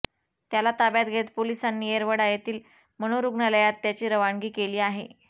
त्याला ताब्यात घेत पोलिसांनी येरवडा येथील मनोरुग्णालयात त्याची रवानगी केली आहे